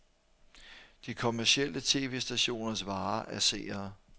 De kommercielle tv-stationers vare er seere.